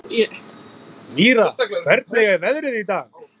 Mýra, hvernig er veðrið í dag?